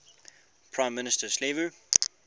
prime minister silvio